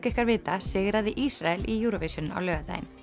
ykkar vita sigraði Ísrael í Eurovision á laugardaginn